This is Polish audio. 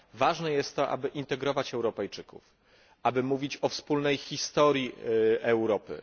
Ważne jest, aby integrować Europejczyków, aby mówić o wspólnej historii Europy.